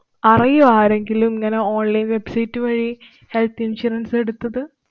അറിയുവോ ആരെങ്കിലും ഇങ്ങനെ online website വഴി health insurance എടുത്തത്?